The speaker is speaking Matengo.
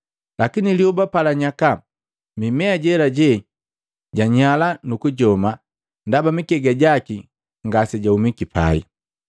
Lakini lyoba palanyaka, mimea jejela janyala nukujoma ndaba mikega jaki ngasejahumiki pai.